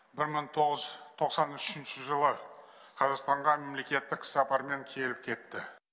бір мың тоғыз жүз тоқсан үшінші жылы қазақстанға мемлекеттік сапармен келіп кетті